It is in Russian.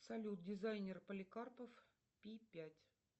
салют дизайнер поликарпов пи пять